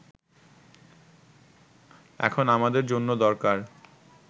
এখন আমাদের জন্য দরকার